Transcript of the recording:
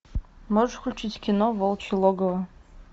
можешь включить кино волчье логово